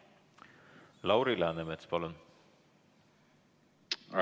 Lauri Läänemets, palun!